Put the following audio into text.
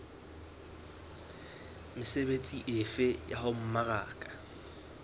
mesebetsi efe ya ho mmaraka